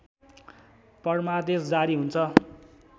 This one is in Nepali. परमादेश जारी हुन्छ